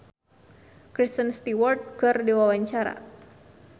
Donita olohok ningali Kristen Stewart keur diwawancara